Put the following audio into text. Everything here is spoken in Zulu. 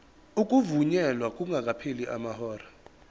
ukuvunyelwa kungakapheli amahora